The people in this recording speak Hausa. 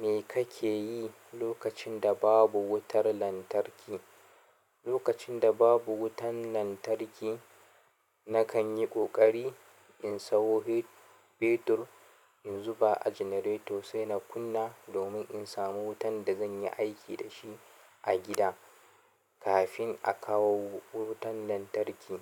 Me kake yi lokacin da babu wutar lantarki? Lokacin da babu wutan lantarki, na kan yi ƙoƙari in sayo fetur in zuba a janareto sai na kunna domin in samu wutan da zan yi aiki da shi a gida kafin a kawo wutan lantarki.